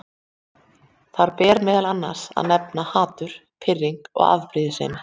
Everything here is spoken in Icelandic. Þar ber meðal annars að nefna hatur, pirring og afbrýðisemi.